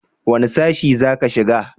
wani sashi za ka shiga